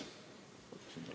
Palun ka lisaaega!